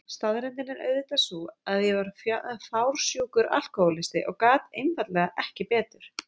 Staðreyndin er auðvitað sú að ég var orðin fársjúkur alkohólisti og gat einfaldlega ekki betur.